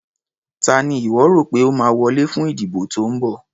Ta ni ìwọ́ rò pé ó máa wọlé fún ìdìbò tó ń bọ̀.